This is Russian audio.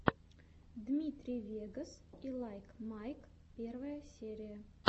дмитрий вегас и лайк майк первая серия